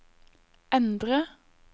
endre